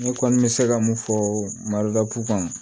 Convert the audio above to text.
Ne kɔni bɛ se ka mun fɔ maroda pukan